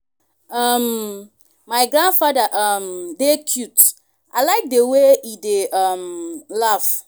um my grandfather um dey cute i like the way e dey um laugh